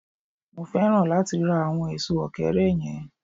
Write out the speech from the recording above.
Mo féràn láti ra àwọn èso òkèèrè yẹn.